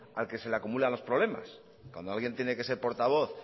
al que se le acumulan los problemas cuando alguien tiene que ser portavoz